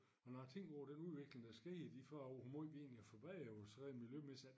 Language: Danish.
Og når jeg tænker over den udvikling der er sket i de 40 år hvor meget vi egentlig har forbedret os sådan rent miljømæssigt ik